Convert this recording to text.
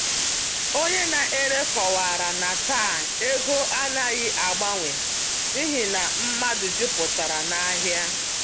Onye na-ere kọwara na taa ego anaghị agbanwe n’ihi na mmadụ jupụtara n’ahịa.